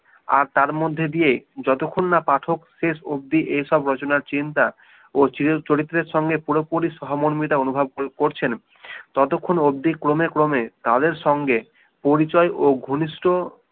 আর তার মধ্যে দিয়েই যতক্ষণ না পাঠক শেষ অবধি এসব রচনার চিন্তা ও চরিত্রের সঙ্গে পুরোপুরি সহমর্মিতা অনুভব করছেন ততক্ষন অবধি ক্রমে ক্রমে তাদের সঙ্গে পরিচয় ও ঘনিষ্ঠ